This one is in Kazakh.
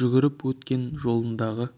жүгіріп өткен жолындағы